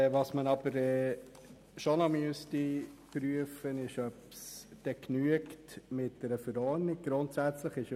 Man müsste aber schon noch prüfen, ob eine Verordnung ausreicht.